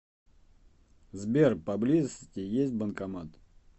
сбер по близости есть банкомат